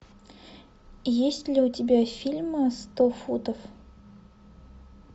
есть ли у тебя фильм сто футов